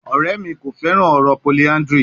Ọrẹ mi ko fẹran ọrọ polyandry